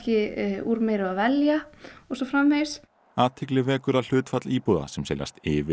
úr meiru að velja og svo framvegis athygli vekur að hlutfall íbúða sem seljast yfir